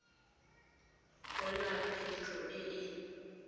go na phitlho e e